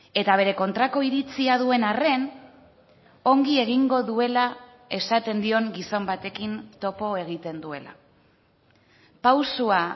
eta bere kontrako iritzia duen arren ongi egingo duela esaten dion gizon batekin topo egiten duela pausua